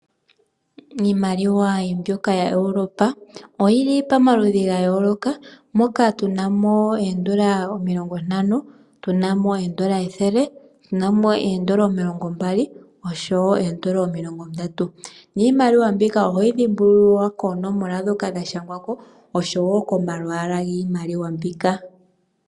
Iimaliwa mbyoka ya Europa oyi li pamaludhi gayooloka moka tu na mo oondola omilongo ntano, tuna mo oondola ethele, tuna mo oondola omilongombali oshowo oondola omilongo ndatu, niimaliwa mbika ohoyi dhimbulula koonomola dhoka dha shangwa ko oshowo komalwaala giimaliwa mbika.